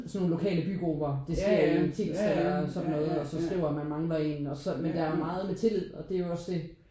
Sådan nogen lokale bygrupper Det sker i Tilst eller sådan noget og så skriver man man mangler en og så men der er jo meget med tillid og det er jo også det